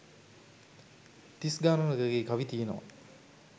තිස් ගාණක ගේ කවි තියෙනවා